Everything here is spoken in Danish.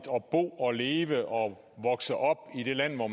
bo og leve og vokse op i det land hvor